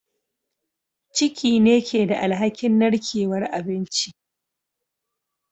Ciki ne ke da alhakin narkewar abinci